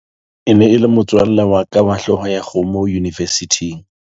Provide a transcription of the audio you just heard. e ne e le motswalle wa ka wa hlooho ya kgomo yunivesithing